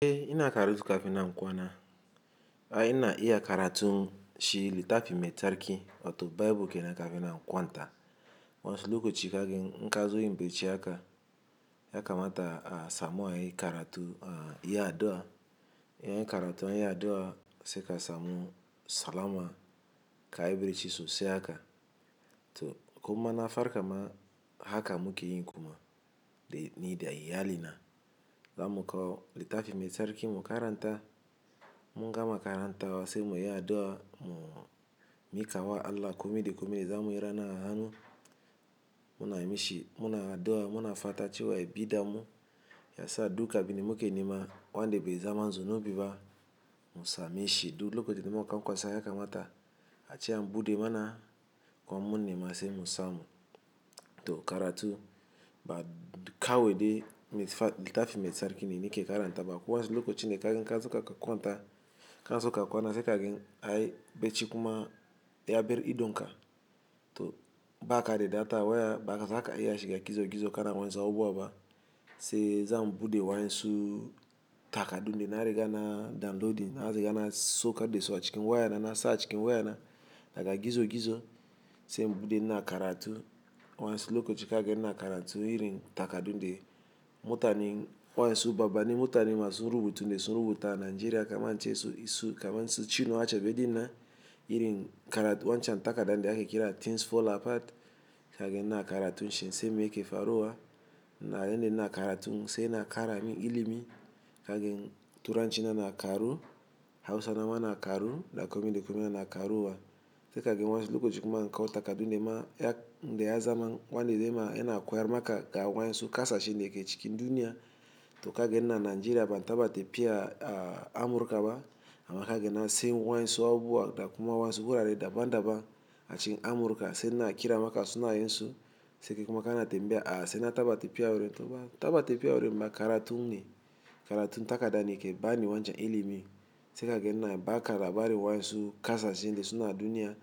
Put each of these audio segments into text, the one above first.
Eh ina karatu kafin na kwana. Ai ina iya karatu shi littafi mai tsarki, ato Baibul ke na kafin na kwanta. Wansuloka ci ka gan in kazoyim bichi haka ya kamata a samu ai karatu a yi addu'a. Yayi karatu anyi addu'a sai ka samu salama ka yi barci sosai haka. To kuma ina farka ma haka muke yin kuma da ni da iyali na. Zamu kawo littafi mai tsarki mu karanta. Munga ma karanta sai muyi addu'a mu mi kawa Allah kome da kome zamuyi rana a hanu. Muna mishi, muna addu'a, muna fata cewa ya bi da mu. Ya sa duka abin da muke nema wa'inda be zama zunubi ba mu same shi. Duk lokacin da muka kwasa ya kamata a ce an bude mana kuma in mun nema sai mu samu. To karatu ba kawai de littafi mai tsarki ne ni ke karanta ba. Ko wasu lokaci ne kazo kanaso ka kwanta, kanaso ka kwana sai kagan ai bacci kuma ya bar idonka. To ba ka de data waya ba za ka iya shiga gizo gizo kana wa insu abubuwa ba. Sai zam bude wainsu takadunde na riga na downloading har zai riga na saukar de su a cikin wayana na sa cikin wayana. Daga gizo gizo sai in bude ina karatu. Waensu lokaci kagan ina karatu irin takadunde mutanen wainsu babba ne, mutanen masu rubutu ne sun rubuta Najeriya kamar cin su, kamar cin su chinuwa acebe dinan irin karatu wancan takada da ake kira Things Fall Apart. Kagani na karatu shi in san mai ke faruwa na yande ina karatu sai ina kara min ilimi. Kagen turanci na na karu Hausawa na na karu da kome da kome na karuwa. Sai kagen waensu lokacin kuma in kawo takadunde ma ya, inda ya zama wande de ma yana koyar maka ga waensu kasa shi neke cikin duniya. To kagen ina Najeriya ban taba tepiya a Amurkawa. Ama ka ganin na sai waensu abubuwa da kuma waensu gurare daban daban a cikin Amurka sai ina kira maka sunayensu. Sai kekuma kana tambiya a sai na taba tepiya wurin to ba taba tepiya wurin ba karatu ne. Karatu takada ne ke bani wancan ilimi. Sai kagen ina baka labari wainsu kasa shine suna duniya.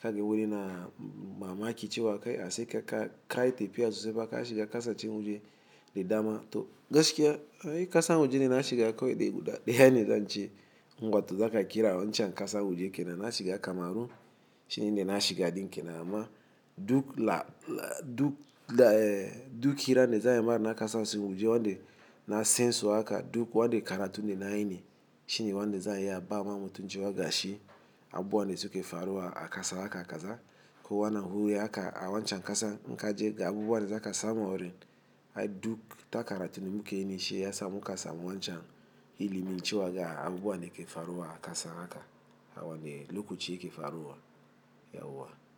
Kagen wurina mamaki cewa kai a sai ka kai tepiya sosai maka shi ga kasa cin waje de dama. To gaskiya ai kasa waje na shi ga kawai de guda daya ne zan ce. Ngwato zaka kira wancan kasa waje ke na na shi ga kamaru shine de na shi ga din ke nama. Duk la la duk la eh duk kiran da za ayi ma na kasa wajen wande na sansu haka duk wande karatun de nayi ne shine wande zai iya ba wa mutum cewa gashi abubuwa da suke faruwa a kasa haka kaza ko wana wuri aka a wancan kasa nka je ga abu wane zaka samu a wurin ai duk takaratu muke nishi ya sa muka samu wancan ilimin cewa ga abubuwa da yake faruwa a kasa haka a wane lokaci yake faruwa yauwa.